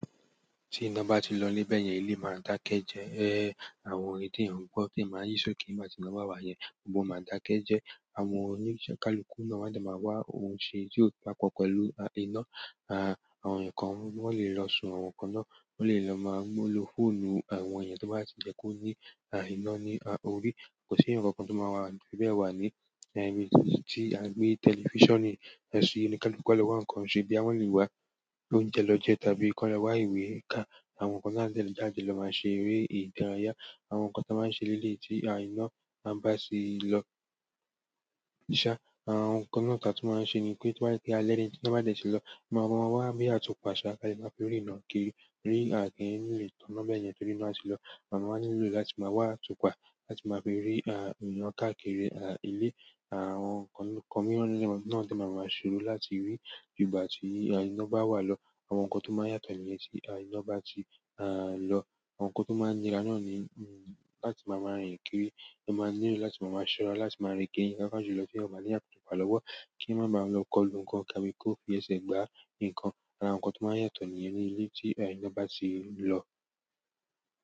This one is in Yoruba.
Tí nǹkan báti lọ bẹ́yen ilé máa dáké jẹ́. Éhè, àwọn orin tí èèyàn ń gbọ́ tì èèyàn máa yí ṣóòke nígbà tí iná bá wà yẹn, gbogbo wọn máa dà kẹ́ jẹ́. Àwọn oníṣẹ́ kaluku náà máa dà máa wá oun ṣe tí ó bá papọ̀ pẹ̀lú a iná. À, àwọn ǹkan wọ́n lè lọ sun àwọn ǹkan náà, wọ́n lè lọ máa mu lo fóònù àwọn èèyàn tó bá ti jẹ́ kó ní a iná ní a orí. Kò sí ǹkan kan tó máa wà fíbẹ̀ẹ̀ wà ní a ibi tì a gbé tẹlifíṣànì, sí oníkálukú a lọ wá ǹkan ṣe bóyá wọn lè wá oúnjẹ lọ jẹ tàbí kí wọ́n lọ wá ìwé ká. Àwọn ǹkan tí a ń tẹ̀ lé jáde lọ máa ṣe eré ìdárayá. Àwọn ǹkan tí a máa ń ṣe ní eléyìí tí a iná a bá ti lọ ṣá, àwọn ǹkan náà ti a tún máa ṣe ni pé tó bá jẹ́ pé alẹ́ ni tí iná bá dẹ̀ ti lọ, máa máa ma wá bí àtùpà ṣàá a dẹ̀ máa fi rína kiri. Rí a ki n lé tò mọ́n bẹ́yen torí báa ti lọ. Amáa wáá nílò láti máa wá atupa láti máa fi rí a ìran káà kiri a ilé. Àwọn ǹkan kan mìíràn náà náà dẹ̀ máa máa ṣòro láti rí ígbà tí a iná bá wà lọ. Àwọn ǹkan tó máa ń yàtọ̀ nìyẹn tí a iná bá ti à lọ. Àwọn ǹkan tó máa ń nira náà ni mm láti máa máa rìn kiri. Wọ́n máa ń nílò láti máa máa ṣọ́ra láti máa rín kiri pàápàá jù lọ ti eeyan o bání àtùpà lọ́wọ́ kí wọ́n máa ba lọ kọlu ǹkan tàbí kò fi ẹsẹ̀ gbá ǹkan. Àwọn ǹkan tó máa ń yàtọ̀ nìyẹn ní ilé tí a iná bá ti lọ.